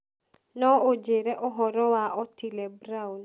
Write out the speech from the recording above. no ũnjĩĩre ũhoro wa Otile Brown